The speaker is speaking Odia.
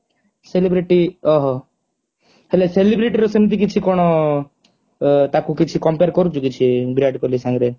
celebrity ଓହୋ ହେଲେ celebrity ର ସେମତି କିଛି କଣ ତାକୁ କିଛି compare କରୁଚୁ କି ସେ ବିରାଟ କୋହଲି ସାଙ୍ଗରେ